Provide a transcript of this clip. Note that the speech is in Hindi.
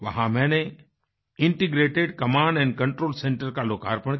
वहाँ मैंने इंटीग्रेटेड कमांड कंट्रोल सेंटर का लोकार्पण किया